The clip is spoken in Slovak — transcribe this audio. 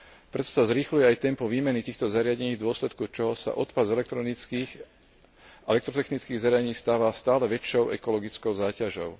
Preto sa zrýchľuje aj tempo výmeny týchto zariadení, v dôsledku čoho sa odpad z elektronických a elektrotechnických zariadení stáva stále väčšou ekologickou záťažou.